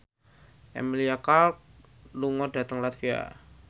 Emilia Clarke lunga dhateng latvia